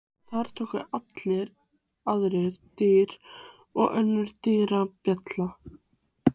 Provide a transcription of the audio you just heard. Þar tóku við aðrar dyr og önnur dyrabjalla.